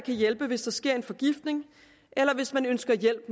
hjælpe hvis der sker en forgiftning eller hvis man ønsker hjælp